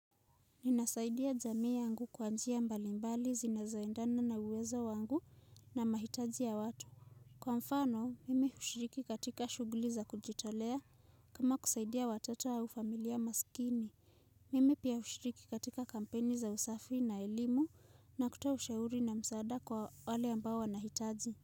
Ninasaidia jamii yangu kwa njia mbalimbali zinazo endana na uwezo wangu na mahitaji ya watu kwa mfano mimi hushiriki katika shuguli za kujitolea kama kusaidia watoto au familia masikini Mime pia hushiriki katika kampeni za usafi na elimu na kutoa ushauri na msaada kwa wale ambao wanahitaji.